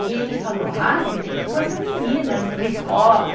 E ele falou, ah, você tem que pôr essa menina numa escola.